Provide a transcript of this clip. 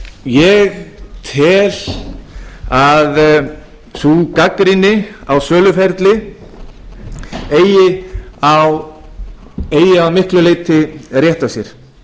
ég tel að sú gagnrýni á söluferlið eigi að miklu leyti rétt á sér